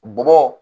Bɔbɔ